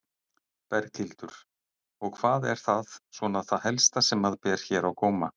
Berghildur: Og hvað er það svona það helsta sem að ber hér á góma?